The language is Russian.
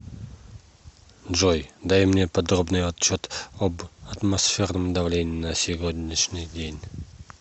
джой дай мне подробный отчет об атмосферном давлении на сегодняшний день